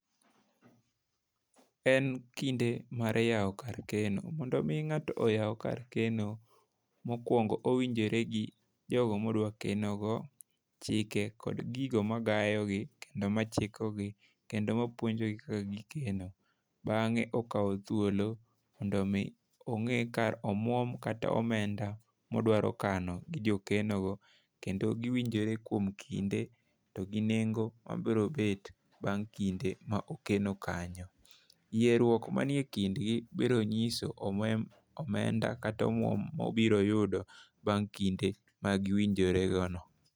En kinde mar yawo kar keno. Mondo mi ng'ato oyaw kar keno mokwongo, owinjore gi jogo modwa keno go, chike kod gigo magayogi kendo machikogi kendo ma puonjogi kaka gikeno. Bang'e okawo thuolo mondo mi ong'e ka omwom kata omenda modwaro kano gi jokeno kendo giwinjore kuom kinde to gi nengo mabiro bet bang' kinde ma okeno kanyo. Yierruok manie kindgi biro nyiso omenda kata omwom mobiro yudo bang' kinde ma giwinjore go no.